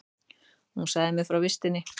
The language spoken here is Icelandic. Hún sagði mér frá vistinni.